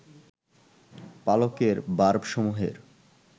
পালকের বার্বসমূহের